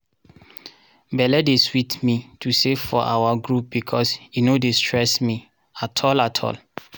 belle dey sweet me to save for our group becos e no dey stress me. at all at all